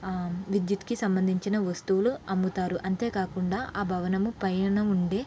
ఆ విదేట్టు కి సంబంధించిన వస్తువులు అమ్ముతారు అంతేకాకుండా ఆ భవనం పైన ఉండే--